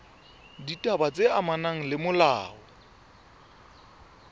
ditaba tse amanang le molao